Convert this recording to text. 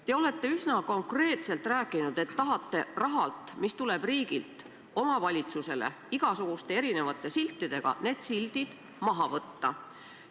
Te olete üsna konkreetselt rääkinud, et tahate rahalt, mis tuleb riigilt omavalitsusele igasuguste erinevate siltidega, need sildid maha võtta.